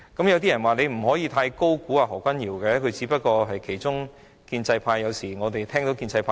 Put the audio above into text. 有些人說不可以太高估何君堯議員，他只不過是建制派的其中一員。